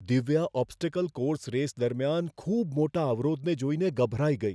Divya obstacle course race દરમિયાન ખૂબ મોટા અવરોધને જોઈને ગભરાઈ ગઈ.